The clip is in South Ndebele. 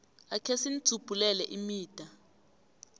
akhe sinidzubhulele imida